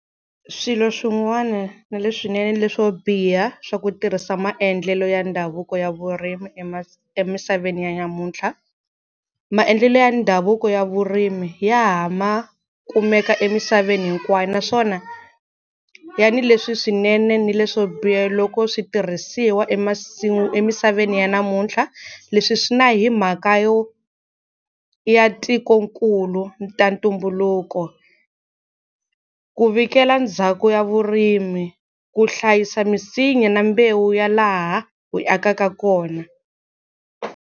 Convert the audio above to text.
Swilo swin'wana na leswinene na leswo biha swa ku tirhisa maendlelo ya ndhavuko ya vurimi emisaveni ya namuntlha. Maendlelo ya ndhavuko ya vurimi ya ha ma kumeka emisaveni hinkwayo naswona ya ni leswi swinene ni leswo biha loko switirhisiwa emisaveni ya namuntlha. Leswi swi na hi mhaka yo ya tikonkulu ta ntumbuluko, ku vhikela ndhawu ya vurimi, ku hlayisa misinya na mbewu ya laha hi akaka kona.